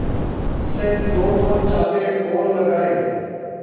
से दोदो चांटे और लगाए